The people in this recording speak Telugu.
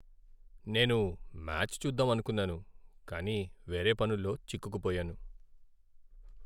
నేను మ్యాచ్ చూద్దామనుకున్నాను కానీ వేరే పనుల్లో చిక్కుకు పోయాను.